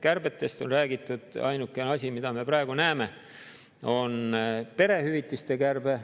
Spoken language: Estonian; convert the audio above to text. Kärbetest on räägitud, aga ainukene asi, mida me praegu näeme, on perehüvitiste kärbe.